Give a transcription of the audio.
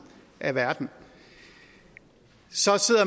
af verden så